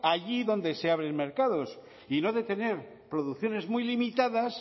allí donde se abren mercados y no de tener producciones muy limitadas